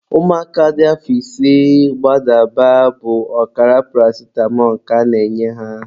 Ụmụaka dị afọ ise gbadaba bụ ọkara paracitamọ ka a na-enye ha.